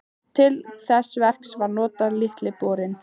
Til þess verks var notaður Litli borinn.